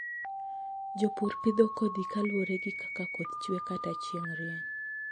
Jopur pidho kodhi kaluwore gi kaka koth chwe kata chieng' rieny.